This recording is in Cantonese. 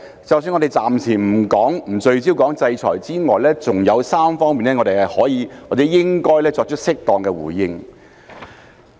即使我們暫時不聚焦討論制裁，還有3方面我們可以或應該作出適當的回應。